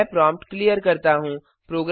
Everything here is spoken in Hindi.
मैं प्रॉम्प्ट क्लियर करता हूँ